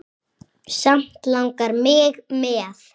Samt langar mig með.